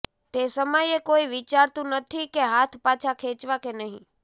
તે સમયે કોઈ વિચારતું નથી કે હાથ પાછા ખેંચવા કે નહીં